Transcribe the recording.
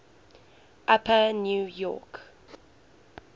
upper new york